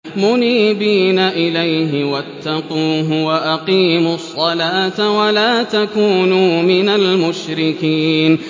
۞ مُنِيبِينَ إِلَيْهِ وَاتَّقُوهُ وَأَقِيمُوا الصَّلَاةَ وَلَا تَكُونُوا مِنَ الْمُشْرِكِينَ